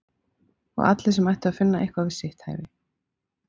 Og allir sem ættu að finna eitthvað við sitt hæfi?